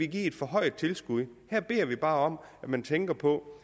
give et forhøjet tilskud her beder vi bare om at man tænker på